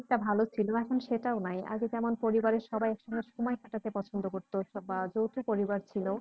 অনেকটা ভাল ছিল এখন সেটাও নাই আগে যেমন পরিবারের সবাই একসঙ্গে সময় কাটাতে পছন্দ করত বা যৌথপরিবার ছিল